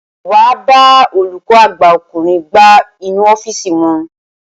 Wàá bá olùkọ́ àgbà ọkùnrin gbá inú ọ́fíìsì wọn.